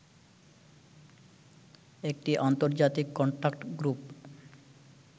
একটি আন্তর্জাতিক contact group